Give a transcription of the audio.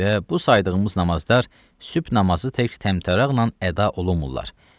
Və bu saydığımız namazlar sübh namazı tək təntəraqla əda olunmurlar.